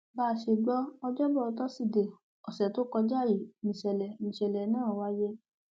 bá a ṣe gbọ ọjọbọ tọsídẹẹ ọsẹ tó kọjá yìí níṣẹlẹ níṣẹlẹ náà wáyé